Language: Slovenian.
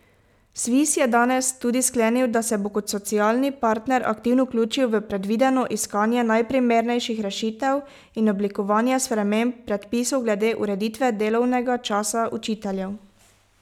Sviz je danes tudi sklenil, da se bo kot socialni partner aktivno vključil v predvideno iskanje najprimernejših rešitev in oblikovanje sprememb predpisov glede ureditve delovnega časa učiteljev.